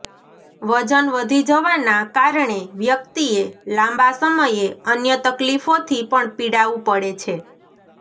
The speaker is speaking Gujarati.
વજન વધી જવાના કારણે વ્યક્તિએ લાંબા સમયે અન્ય તકલીફોથી પણ પીડાવું પડે છે